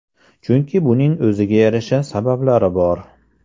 Chunki buning o‘ziga yarasha sabablari bor.